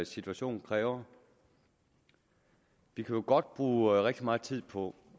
situationen kræver vi kan jo godt bruge rigtig meget tid på